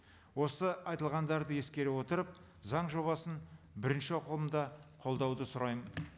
осы айтылғандарды ескере отырып заң жобасын бірінші оқылымда қолдауды сұраймын